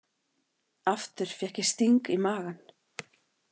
Aftur fékk ég sting í magann.